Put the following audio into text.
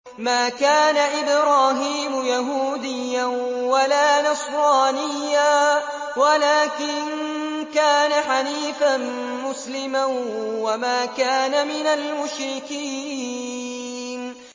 مَا كَانَ إِبْرَاهِيمُ يَهُودِيًّا وَلَا نَصْرَانِيًّا وَلَٰكِن كَانَ حَنِيفًا مُّسْلِمًا وَمَا كَانَ مِنَ الْمُشْرِكِينَ